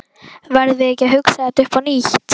Verðum við ekki að hugsa þetta upp á nýtt?